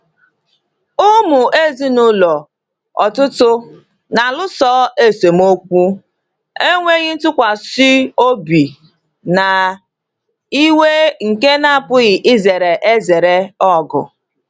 Ụmụ ezinụlọ ọtụtụ na-alụso esemokwu, enweghị ntụkwasị obi, na iwe nke na-apụghị izere ezere ọgụ.